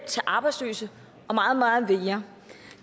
til arbejdsløse og meget meget mere